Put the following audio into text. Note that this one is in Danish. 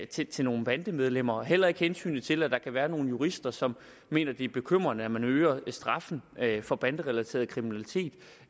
til til nogle bandemedlemmer og heller ikke hensynet til at der kan være nogle jurister som mener det er bekymrende at man øger straffen for banderelateret kriminalitet